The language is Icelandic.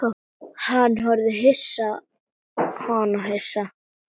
Hann horfði á hana hissa.